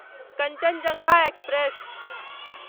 Kanchenjunga express